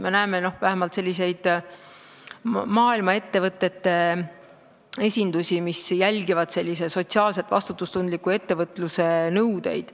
Me näeme vähemalt selliseid maailma ettevõtete esindusi, mis jälgivad sotsiaalselt vastutustundliku ettevõtluse nõudeid.